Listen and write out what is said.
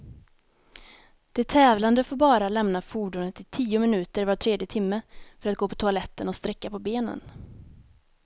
De tävlande får bara lämna fordonet i tio minuter var tredje timme, för att gå på toaletten och sträcka på benen.